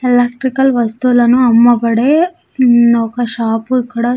Electrical వస్తువులను అమ్మబడే మ్మ్ ఒక షాపు ఇక్కడ.